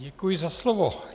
Děkuji za slovo.